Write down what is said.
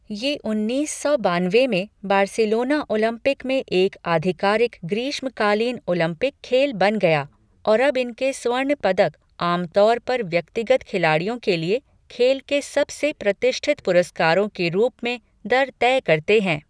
ये उन्नीस सौ बानवे में बार्सिलोना ओलंपिक में एक आधिकारिक ग्रीष्मकालीन ओलंपिक खेल बन गया और अब इनके स्वर्ण पदक आम तौर पर व्यक्तिगत खिलाड़ियों के लिए खेल के सबसे प्रतिष्ठित पुरस्कारों के रूप में दर तय करते हैं।